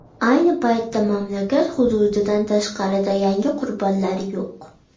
Ayni payda mamlakat hududidan tashqarida yangi qurbonlar yo‘q.